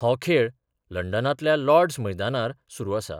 हो खेळ लंडनांतल्या लॉर्डस मैदानार सुरू आसा.